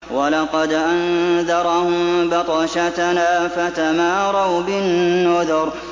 وَلَقَدْ أَنذَرَهُم بَطْشَتَنَا فَتَمَارَوْا بِالنُّذُرِ